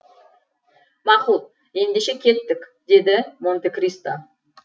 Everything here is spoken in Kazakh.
мақұл ендеше кеттік деді монте кристо